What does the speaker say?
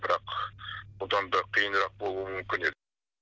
бірақ бұдан да қиынырақ болуы мүмкін еді